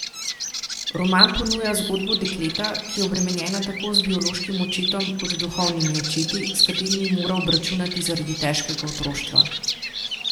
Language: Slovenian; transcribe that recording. Roman ponuja zgodbo dekleta, ki je obremenjena tako z biološkim očetom kot duhovnimi očeti, s katerimi mora obračunati zaradi težkega otroštva.